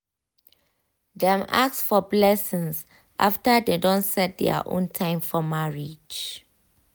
dem ask for blessings after dem don set their own time for marriage.